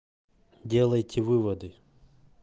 делайте выводы